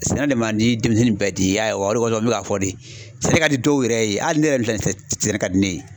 Sɛnɛ de man di denmisɛnnin bɛɛ ten, i y'a ye wa , O de kɔsɔn, n bɛ k'a fɔ Yen ,sɛnɛ ka di dɔw yɛrɛ ye, hali ne yɛrɛ minɛ filɛ, sɛnɛ ka di ne ye.